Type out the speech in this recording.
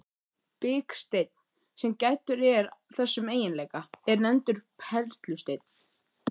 Biksteinn, sem gæddur er þessum eiginleika, er nefndur perlusteinn.